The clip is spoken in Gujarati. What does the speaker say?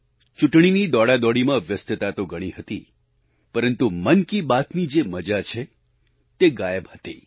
ચૂંટણીની દોડાદોડીમાં વ્યસ્તતા તો ઘણી હતી પરંતુ મન કી બાતની જે મજા છે તે ગાયબ હતી